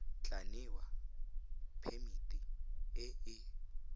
tla newa phemiti e e